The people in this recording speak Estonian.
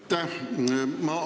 Aitäh!